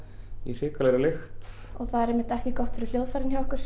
í hrikalegri lykt það er einmitt ekki gott fyrir hljóðfærin hjá okkur